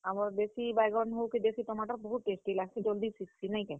ଆମର୍ ଦେଶୀ ବାଇଗନ୍ ହଉ, କି ଦେଶୀ ଟମାଟର୍ ହଉ ବହୁତ tasty ବି ଲାଗ୍ ସି। ଜଲ୍ ଦି ସିଝସି ନାଇଁ କେଁ?